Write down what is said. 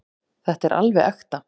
Þetta er alveg ekta.